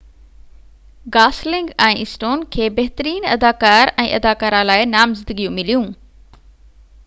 Gosling ۽ Stone کي بهترين اداڪار ۽ اداڪاره لاءِ نامزدگيون مليون